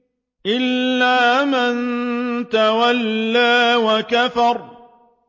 إِلَّا مَن تَوَلَّىٰ وَكَفَرَ